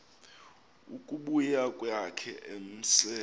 ukubuya kwakhe emse